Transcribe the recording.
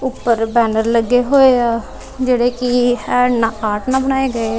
ਉੱਪਰ ਬੈਨਰ ਲੱਗੇ ਹੋਏ ਆ ਜਿਹੜੇ ਕੀ ਹੈਂਡ ਨਾਲ ਆਰਟ ਨਾਲ ਬਣਾਏ ਗਏ ਆ।